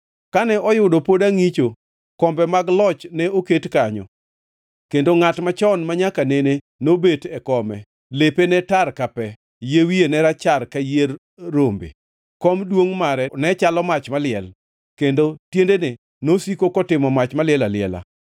“Kane oyudo pod angʼicho, “kombe mag loch ne oketi kanyo Kendo Ngʼat Machon Manyaka nene nobet e kome. Lepe ne tar ka pe, yie wiye ne rachar ka yier rombe. Kom duongʼ mare ne chalo mach maliel kendo tiendene nosiko kotimo mach maliel aliela.